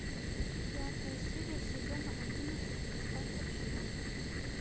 пятая серия сезона одиннадцать остаться в живых